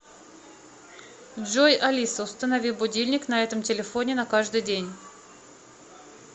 джой алиса установи будильник на этом телефоне на каждый день